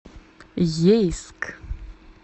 ейск